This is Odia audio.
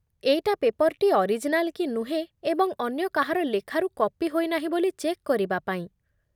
ଏଇଟା ପେପର୍‌ଟି ଅରିଜିନାଲ୍ କି ନୁହେଁ ଏବଂ ଅନ୍ୟ କାହାର ଲେଖାରୁ କପି ହୋଇନାହିଁ ବୋଲି ଚେକ୍ କରିବା ପାଇଁ ।